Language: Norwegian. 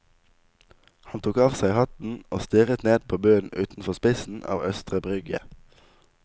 Han tok av seg hatten og stirret ned på bunnen utenfor spissen av østre brygge.